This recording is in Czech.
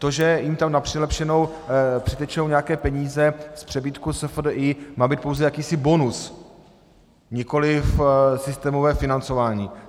To, že jim tam na přilepšenou přitečou nějaké peníze z přebytku SFDI, má být pouze jakýsi bonus, nikoli systémové financování.